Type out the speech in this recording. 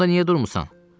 Bəs onda niyə durmusan?